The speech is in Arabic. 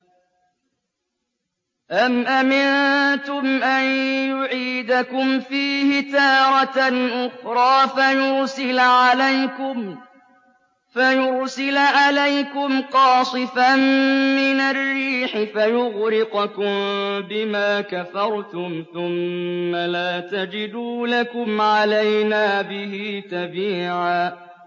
أَمْ أَمِنتُمْ أَن يُعِيدَكُمْ فِيهِ تَارَةً أُخْرَىٰ فَيُرْسِلَ عَلَيْكُمْ قَاصِفًا مِّنَ الرِّيحِ فَيُغْرِقَكُم بِمَا كَفَرْتُمْ ۙ ثُمَّ لَا تَجِدُوا لَكُمْ عَلَيْنَا بِهِ تَبِيعًا